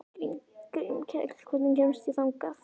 Grímkell, hvernig kemst ég þangað?